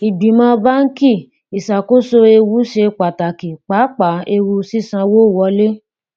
ìgbìmọ báńkì ìṣàkóso ewu ṣe pàtàkì pàápàá ewu sísanwó wọlé